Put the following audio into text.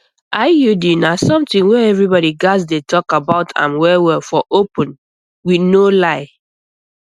iud na something wey everybody gats dey talk about am well well for open with no lie